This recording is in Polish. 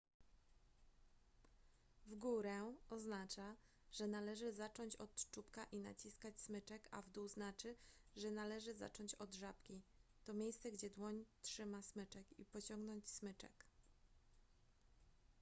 w górę oznacza że należy zacząć od czubka i naciskać smyczek a w dół znaczy że należy zacząć od żabki to miejsce gdzie dłoń trzyma smyczek i pociągnąć smyczek